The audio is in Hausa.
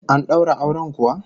An daura auren kuwa?